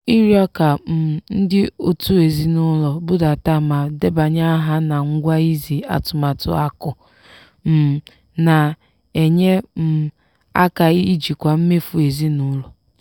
ịrịọ ka um ndị òtù ezinụlọ budata ma debanye aha na ngwa izi atụmatụ akụ um na-enye um aka ijikwa mmefu ezinụlọ.